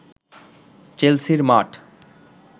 চেলসির মাঠ